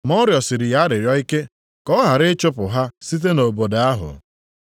Ma ọ rịọsiri ya arịrịọ ike ka ọ ghara ịchụpụ ha site nʼobodo ahụ.